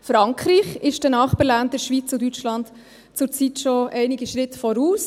Frankreich ist den Nachbarländern Schweiz und Deutschland zurzeit schon einige Schritte voraus: